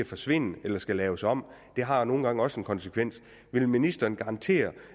forsvinder eller skal laves om og det har jo nogle gange også en konsekvens vil ministeren garantere